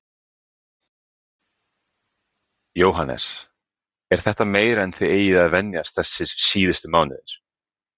Jóhannes: Er þetta meira en þið eigið að venjast þessir síðustu mánuðir?